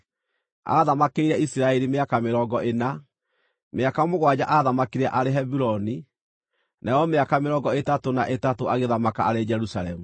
Aathamakĩire Isiraeli mĩaka mĩrongo ĩna: mĩaka mũgwanja aathamakire arĩ Hebironi, nayo mĩaka mĩrongo ĩtatũ na ĩtatũ agĩthamaka arĩ Jerusalemu.